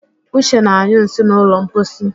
Uche na-anyụ nsị n'ụlọ mposi